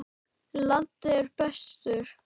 Laddi er bestur.